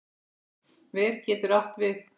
Ver getur átt við